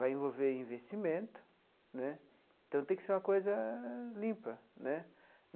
Vai envolver investimento né, então tem que ser uma coisa limpa né.